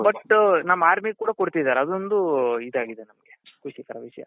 but ನಮ್ಮ armyಗೆ ಕೂಡ ಕೊಡ್ತಿದಾರೆ ಅದೊಂದು ಇದಾಗಿದೆ ಖುಷಿ ಕರ ವಿಷ್ಯ .